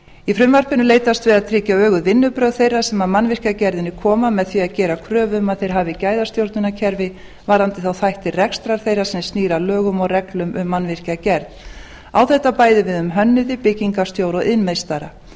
í frumvarpinu er leitast við að tryggja öguð vinnubrögð þeirra sem að mannvirkjagerðinni koma með því að gera kröfu um að þeir hafi gæðastjórnunarkerfi varðandi þá þætti rekstrar þeirra sem snýr að lögum og reglum um mannvirkjagerð á þetta bæði við um hönnuði byggingarstjóra og iðnmeistara